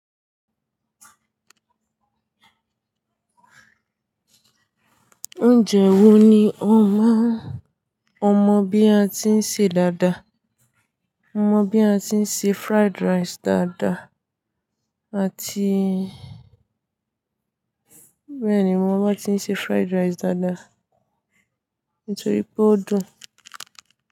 Oúnjẹ wo ni ó máa ń, ọmọ bí a ti ń ṣe dáadáa, mọmọ bí a ti ń ṣe fried rice dáadáa àti bèéni mo mo bá ti ń ṣe fried rice dáadáa, nitoripe o dùn.